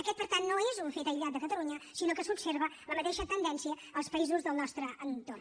aquest per tant no és un fet aïllat de catalunya sinó que s’observa la mateixa tendència als països del nostre entorn